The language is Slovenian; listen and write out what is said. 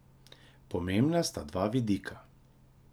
Pomembna sta dva vidika.